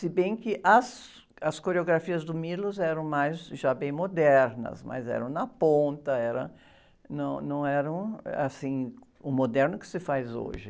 Se bem que as, as coreografias do eram mais, já bem modernas, mas eram na ponta, era, não, não era, assim, o moderno que se faz hoje.